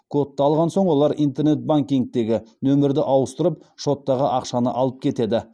кодты алған соң олар интернет банкингтегі нөмірді ауыстырып шоттағы ақшаны алып кетеді